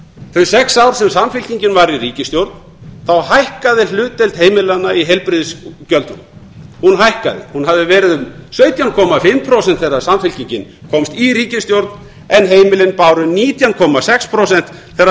þau sex ár sem samfylkingin var í ríkisstjórn þá hækkaði hlutdeild heimilanna í heilbrigðisgjöldunum hún hafði verið um hundrað sjötíu og fimm prósent þegar samfylkingin komst í ríkisstjórn en heimilin báru nítján komma sex prósent þegar